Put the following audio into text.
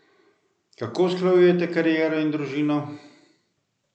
Kako usklajujete kariero in družino?